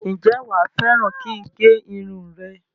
Ǹjẹ́ wá fẹ́ràn kin gé irun rẹ?